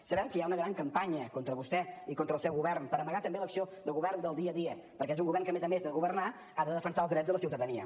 sabem que hi ha una gran campanya contra vostè i contra el seu govern per amagar també l’acció de govern del dia a dia perquè és un govern que a més a més de governar ha de defensar els drets de la ciutadania